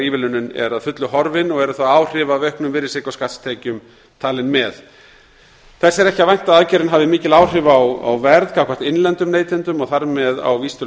ívilnunin er að fullu horfin og eru þá áhrif af auknum virðisaukaskattstekjum talin með þess er ekki að vænta að aðgerðin hafi mikil áhrif á verð gagnvart innlendum neytendum og þar með á vísitölu